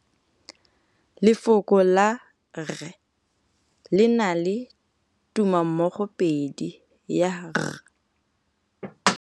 Lefoko la rre, le na le tumammogôpedi ya, r.